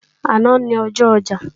Àná ni ọjọ́ ọjà